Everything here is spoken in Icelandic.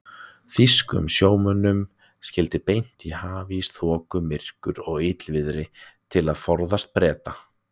Þýskum sjómönnum skyldi beint í hafís, þoku, myrkur og illviðri til að forðast Breta.